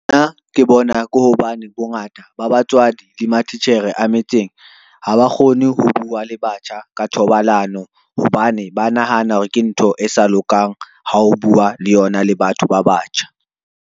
Nna ke bona ke hobane bongata ba batswadi le matitjhere a metseng ha ba kgone ho bua le batjha ka thobalano, hobane ba nahana hore ke ntho e sa lokang ha o bua le yona le batho ba batjha.